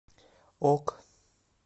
ок